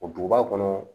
O duguba kɔnɔ